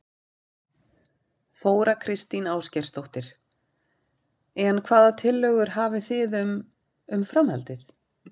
Þóra Kristín Ásgeirsdóttir: En hvaða tillögur hefðu þið um, um framhaldið?